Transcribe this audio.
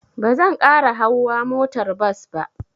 Ba zan ƙara hauwa motar bas ba.